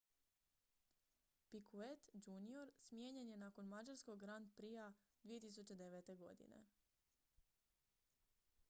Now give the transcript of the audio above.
picquet jr smijenjen je nakon mađarskog grand prixa 2009. godine